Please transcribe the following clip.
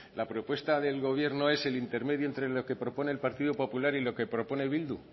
la propuesta del gobierno es el intermedio de lo que propone el partido popular y lo que propone bildu